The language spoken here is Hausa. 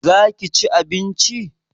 za ka ci abinci?